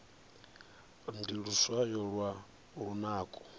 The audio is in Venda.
ndi luswayo lwa lunako